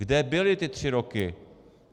Kde byli ty tři roky?